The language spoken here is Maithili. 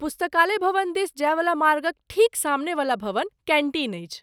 पुस्तकालय भवन दिस जायवला मार्गक ठीक सामनेवला भवन कैन्टीन अछि।